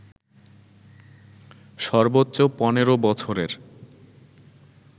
সর্বোচ্চ ১৫ বছরের